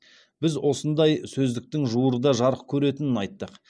біз осындай сөздіктің жуырда жарық көретінін айттық